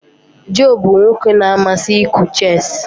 Joe bụ nwoke na-amasị ịkụ chess.